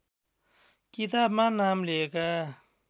किताबमा नाम लिएका